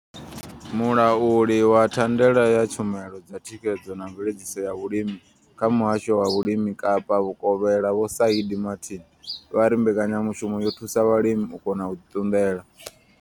Mulauli wa thandela ya tshumelo dza thikhedzo na mveledziso ya vhulimi kha muhasho wa vhulimi Kapa Vhukovhela vho Shaheed Martin vha ri mbekanyamushumo yo thusa vhalimi u kona u ḓi ṱunḓela.